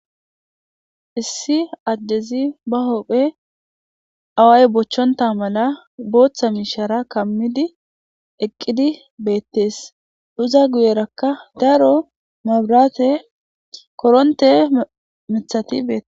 Issi addezi ba hopphe awaay bochchonta mala booththa miishara kammidi eqqidi beettees uza guyerakka daro mabraate koronte mithati beee